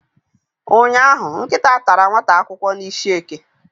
ụnyahụ, nkịta tara nwata akwụkwọ n'isihie.